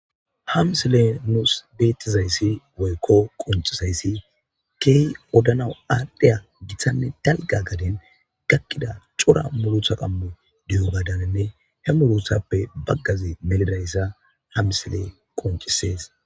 Hamsile nuus beettizayssi woykko quncizayssi keehi odana aadhdheya giththanne dalga gaden gakkida cora mulutha qammu diyo badaninne he muruthappe baggazi melidayssa hamsile qoncisees